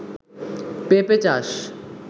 পেপে চাষ